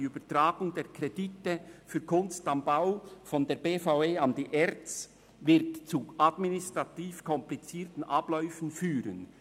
Die Übertragung der Kredite für «Kunst am Bau» der BVE an die ERZ wird zu administrativ komplizierten Abläufen führen.